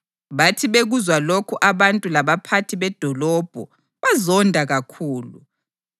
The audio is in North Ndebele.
Bathi bekuzwa lokhu abantu labaphathi bedolobho bazonda kakhulu.